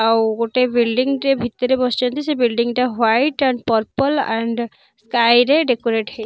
ଆଉ ଗୋଟେ ବିଲ୍ଡିଙ୍ଗି ଟେ ଭିତରେ ବସିଚନ୍ତି ସେ ବିଲ୍ଡିଙ୍ଗି ଟା white and purple and sky ରେ ଡେକୋରେଟ୍ ହେଇ --